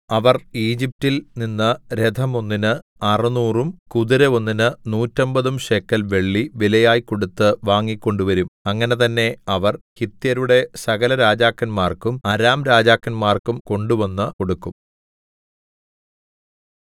അവർ ഈജിപ്റ്റിൽ നിന്ന് രഥമൊന്നിന് അറുനൂറും കുതിര ഒന്നിന് നൂറ്റമ്പതും ശേക്കെൽ വെള്ളി വിലയായി കൊടുത്ത് വാങ്ങിക്കൊണ്ടുവരും അങ്ങനെ തന്നേ അവർ ഹിത്യരുടെ സകലരാജാക്കന്മാർക്കും അരാംരാജാക്കന്മാർക്കും കൊണ്ടുവന്നു കൊടുക്കും